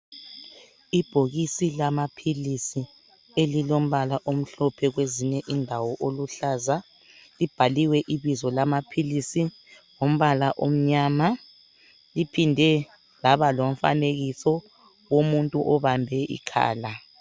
Ibhokisi lamaphilisi elilombala omhlophe kwezinye indawo oluhlaza, libhaliwe ibizo lamaphilisi ngombala omnyama. Liphinde laba lomfanekiso womuntu obambe ikhala.